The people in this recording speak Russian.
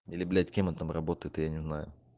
или блять кем он там работает я не знаю